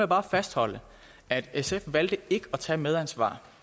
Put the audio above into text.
bare fastholde at sf valgte ikke at tage medansvar